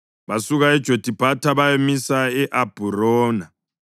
Basuka eJothibhatha bayamisa e-Abhurona.